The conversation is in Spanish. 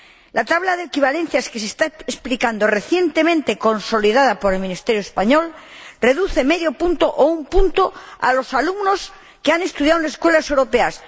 La tabla de equivalencias que se está aplicando, recientemente consolidada por el ministerio español, reduce medio punto o un punto a los alumnos que han estudiado en las Escuelas Europeas.